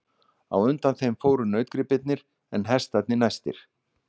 Á undan þeim fóru nautgripirnir en hestarnir næstir.